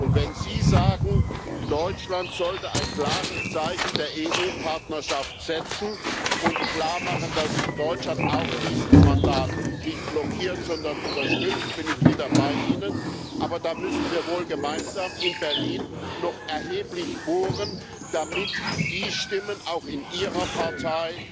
Und wenn Sie sagen, Deutschland sollte ein klares Zeichen der EU-Partnerschaft setzen und klarmachen, dass Deutschland auch dieses Mandat nicht blockiert, sondern unterstützt, bin ich wieder bei Ihnen, aber da müssen wir wohl gemeinsam in Berlin noch erheblich bohren, damit die Stimmen auch in Ihrer Partei,